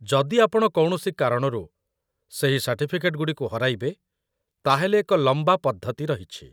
ଯଦି ଆପଣ କୌଣସି କାରଣରୁ ସେହି ସାର୍ଟିଫିକେଟ୍ ଗୁଡ଼ିକୁ ହରାଇବେ, ତା'ହେଲେ ଏକ ଲମ୍ବା ପଦ୍ଧତି ରହିଛି